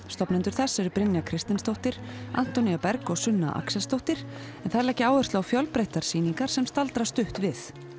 stofnendur þess eru Brynja Kristinsdóttir Antonía Berg og Sunna Axelsdóttir en þær leggja áherslu á fjölbreyttar sýningar sem staldra stutt við